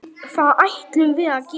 Það ætlum við að gera.